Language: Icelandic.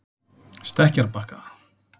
Stekkjarbakka